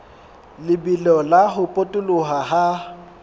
lebelo la ho potoloha ha